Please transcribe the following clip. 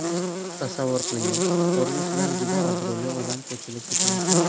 Tasavvur qiling-a: Ko‘rinishidan juda obro‘li odam ko‘chada ketayapti.